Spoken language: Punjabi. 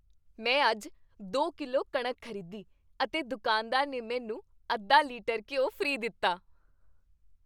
ਮੈਂ ਅੱਜ ਦੋ ਕਿਲੋ ਕਣਕ ਖ਼ਰੀਦੀ ਅਤੇ ਦੁਕਾਨਦਾਰ ਨੇ ਮੈਨੂੰ ਅੱਧਾ ਲੀਟਰ ਘਿਓ ਫ੍ਰੀ ਦਿੱਤਾ